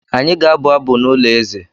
Anyị ga-abụ abụ n’ụlọ eze.